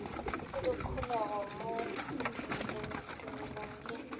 le dikholego mo tumelong ye